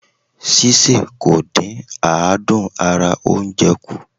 Sísè kò dí àdún ara oúnje kù.